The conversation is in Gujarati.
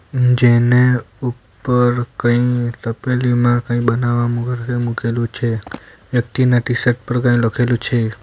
જેને ઉપર કંઈ તપેલીમાં કંઈ બનાવવા માટે મૂકેલું છે વ્યક્તિના ટી_શર્ટ પર કંઈ લખેલું છે.